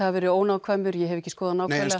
vera ónákvæmur ég hef ekki skoðun nákvæmlega